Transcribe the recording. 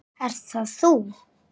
Ert það þú?